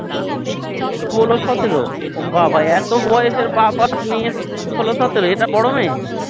Solo সতেরো বাবা এতো বয়সের বাপ আর মেয়ে সোলো সতেরো এটা বড়ো মেয়ে?